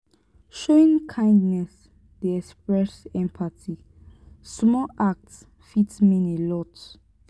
showing kindness dey express empathy; small act fit mean a lot.